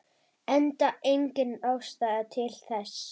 Enda engin ástæða til þess.